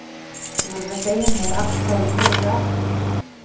Þú verður að segja mér af hverju þeir eru á eftir þér.